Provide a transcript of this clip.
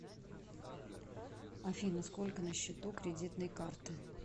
афина сколько на счету кредитной карты